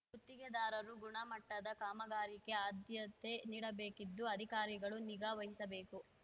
ಗುತ್ತಿಗೆದಾರರು ಗುಣಮಟ್ಟದ ಕಾಮಗಾರಿಗೆ ಆದ್ಯತೆ ನೀಡಬೇಕಿದ್ದು ಅಧಿಕಾರಿಗಳು ನಿಗಾ ವಹಿಸಬೇಕು